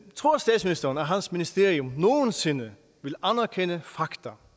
tror statsministeren at hans ministerium nogen sinde vil anerkende fakta